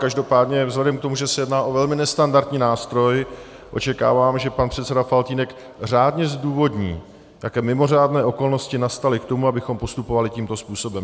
Každopádně vzhledem k tomu, že se jedná o velmi nestandardní nástroj, očekávám, že pan předseda Faltýnek řádně zdůvodní, jaké mimořádné okolnosti nastaly k tomu, abychom postupovali tímto způsobem.